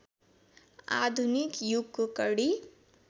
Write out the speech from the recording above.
आधुनिक युगको कडी